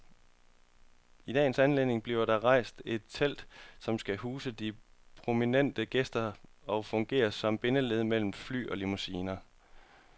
I dagens anledning bliver der rejst et telt, som skal huse de prominente gæster og fungere som bindeled mellem fly og limousiner.